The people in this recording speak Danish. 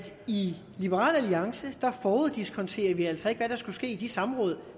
i liberal alliance foruddiskonterer vi altså ikke hvad der skal ske i de samråd